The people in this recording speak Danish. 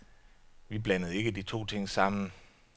Vi blandede ikke de to ting sammen.